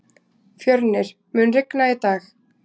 Fjörnir, mun rigna í dag?